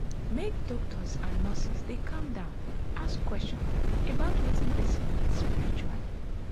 make doctors and nurses dey calm down ask question about wetin person need spritually.